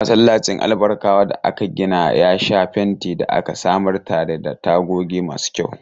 Masallacin Albarkawa da aka gina ya sha fenti da aka samar tare da tagogi masu kyau.